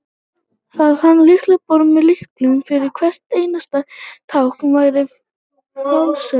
að hanna lyklaborð með lyklum fyrir hvert einasta tákn væri fásinna